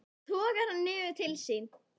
Togar hann niður til sín.